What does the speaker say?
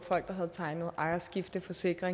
det kan sikre